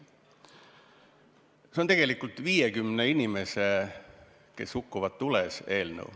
See on tegelikult 50 tules hukkunud inimese eelnõu.